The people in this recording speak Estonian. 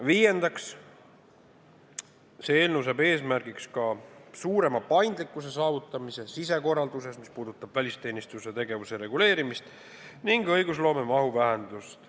Viiendaks, eelnõu seab eesmärgiks suurema paindlikkuse saavutamise sisekorralduses, mis puudutab välisteenistuse tegevuse reguleerimist ning õigusloome mahu vähendamist.